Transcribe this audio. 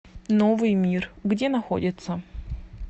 новый мир где находится